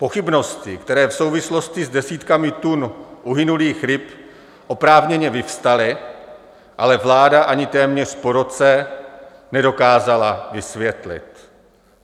Pochybnosti, které v souvislosti s desítkami tun uhynulých ryb oprávněně vyvstaly, ale vláda ani téměř po roce nedokázala vysvětlit.